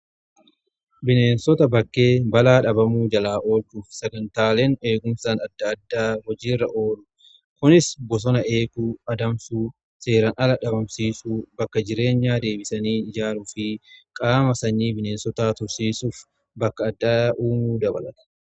Bineensota bakkee balaa dhabamuu jalaa oolchuuf sagantaaleen eegumsaan adda addaa hojiirra oolu. Kunis bosona eeguu, adamsuu seeraan ala dhabamsiisuu, bakka jireenya deebisanii ijaaruu fi qaama sanyii bineensota tursiisuuf bakka addaa uumuu dabalata.